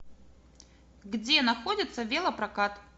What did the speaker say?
где находится велопрокат